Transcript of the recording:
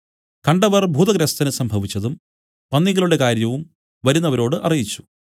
കണ്ടവർ ഭൂതഗ്രസ്തന് സംഭവിച്ചതും പന്നികളുടെ കാര്യവും വരുന്നവരോട് അറിയിച്ചു